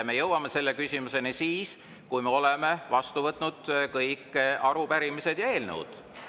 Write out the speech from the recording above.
Me jõuame selle küsimuseni siis, kui me oleme vastu võtnud kõik arupärimised ja eelnõud.